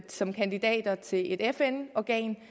som kandidat til et fn organ